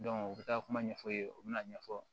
u bɛ taa kuma ɲɛfɔ yen u bɛna ɲɛfɔ